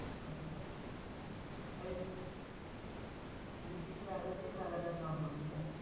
আচ্ছা এই litte magazine মেলাটার নাম বললি না?